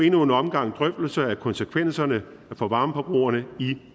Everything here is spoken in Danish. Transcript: endnu en omgang drøftelser af konsekvenserne for varmeforbrugerne i